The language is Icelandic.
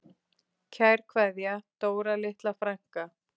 Kær kveðja, Dóra litla frænka.